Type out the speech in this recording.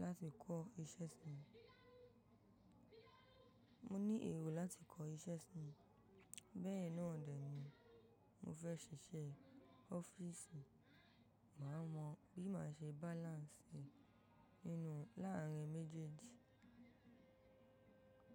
láti kọ́ iṣẹ́ sí i. Mo ní èrò láti kọ́ iṣẹ́ sí i. Bẹ́ẹ̀ náà dẹ̀ ní, mo fẹ́ ṣiṣẹ́ ọ́fíìsì, màá mọ bí màá ṣe balance nínú láàárín méjèèjì.